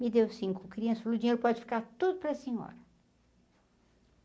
Me deu cinco crianças falou, o dinheiro pode ficar tudo para a senhora.